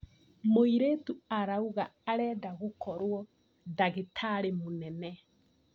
Mũirĩtu arauga arenda gũkorwo ndagĩtarĩ mũnene.